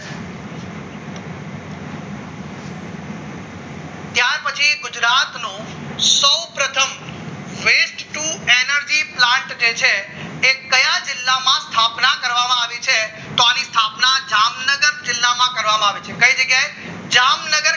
ગુજરાતનો સૌપ્રથમ એનાથી plant જે છે એ કયા જિલ્લામાં સ્થાપના કરવામાં આવી છે તો આવી સ્થાપના જામનગર જિલ્લામાં કરવામાં આવી છે કઈ જગ્યાએ જામનગર